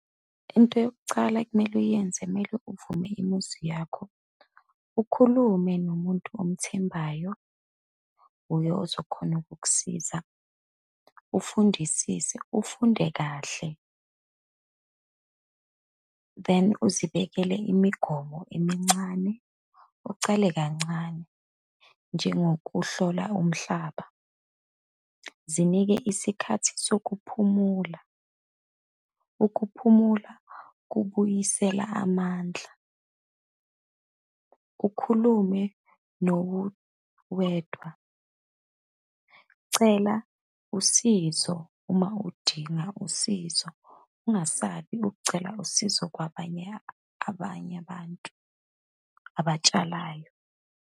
Into yokucala ekumele uyenze, kumele uvume imuzi yakho, ukhulume nomuntu omthembayo, uye ozokhona ukukusiza. Ufundisise, ufunde kahle, then uzibekele imigomo emincane, ucale kancane njengokuhlola umhlaba. Zinike isikhathi sokuphumula, ukuphumula kubuyisela amandla. Ukhulume nowedwa. Cela usizo uma udinga usizo, ungasabi ukucela usizo kwabanye abanye abantu abatshalayo.